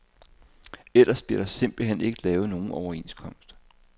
Ellers bliver der simpelt hen ikke lavet nogen overenskomst.